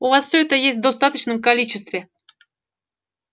у вас всё это есть в достаточном количестве